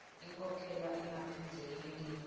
inkhokhela ingaphindze yentiwa